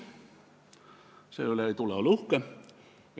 Selle üle ei tule uhke olla.